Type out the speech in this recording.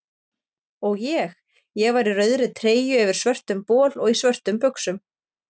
Og ég: ég var í rauðri treyju yfir svörtum bol og í svörtum buxum.